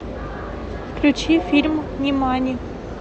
включи фильм нимани